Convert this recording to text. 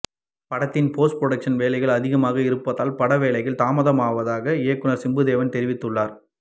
படத்தின் post production வேலைகள் அதிகமாக இருப்பதால் பட வேலைகள் தாமதமாவதாக இயக்குனர் சிம்புதேவன் தெரிவித்து உள்ளார்